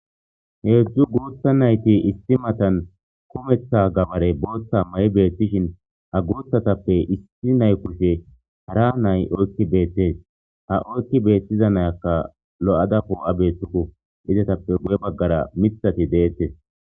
Heedzdzu guutha nayti issi matan kumeththa gabare booththa mayi beettishin ha guuthatappe issi naykushe hara nay oykki beettes ha oykki beettiza nayakka lo'ada poo'a beethtuku izatappe guye baggara mithati deettes